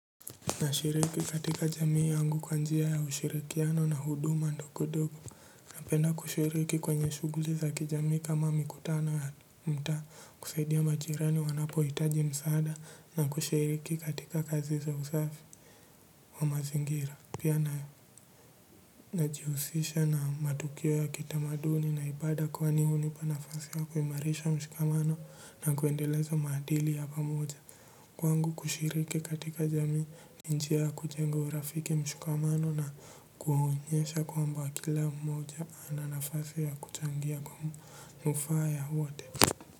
Na shiriki katika jamii yangu kwa njia ya ushirikiano na huduma ndogodogo. Napenda kushiriki kwenye shughuli za kijamii kama mikutano ya mta kusaidia majirani wanapo itaji msaada na kushiriki katika kazi za usafi wa mazingira. Pia na najihusisha na matukio ya kitamaduni naibada kwani unipa nafasi ya kuimarisha mshikamano na kwendeleza maadili ya pamoja. Kwangu kushiriki katika jamii ni njia ya kujenga urafiki mshikamano na kuhunyesha kwamba kila mmoja ananafasi ya kuchangia kwa mufaa ya wote.